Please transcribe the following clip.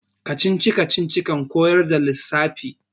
kacici-kacici kan koyar da lissafi